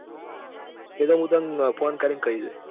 એતો હું તને phone કરી ને કઈ દઈસ.